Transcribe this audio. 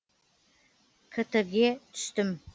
ктг ге түстім